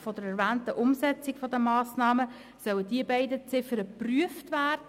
Im Rahmen der erwähnten Umsetzung der Massnahmen sollen diese beiden Ziffern geprüft werden.